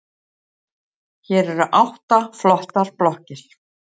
Hér eru átta flottar blokkir.